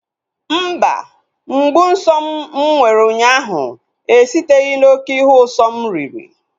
Mba, mgbu nsọ m mụ nwere ụnyaahụ esiteghi na oké ihe usọ m riri